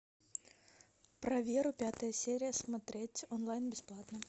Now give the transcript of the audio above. про веру пятая серия смотреть онлайн бесплатно